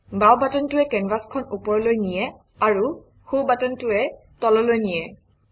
বাওঁ বাটনটোৱে কেনভাচখন ওপৰলৈ নিয়ে আৰু সোঁ বাটনটোৱে তললৈ নিয়ে